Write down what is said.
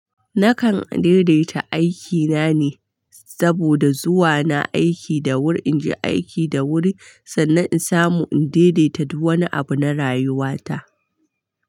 Nakan daidaita aikina ne saboda zuwa na aiki da wuri, in je aiki da wuri, sannan in samu in daidaita du wani abu na rayuwata.